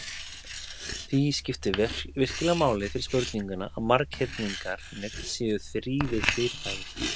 Því skiptir virkilega máli fyrir spurninguna að marghyrningarnir séu þrívíð fyrirbæri.